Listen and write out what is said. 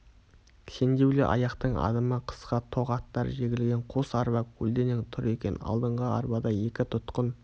кісендеулі аяқтың адымы қысқа тоқ аттар жегілген қос арба көлденең тұр екен алдыңғы арбада екі тұтқын